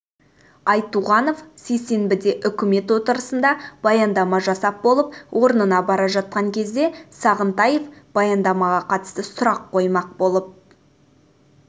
айтуғанов сейсенбіде үкімет отырысында баяндама жасап болып орнына бара жатқан кезде сағынтаев баяндамаға қатысты сұрақ қоймақ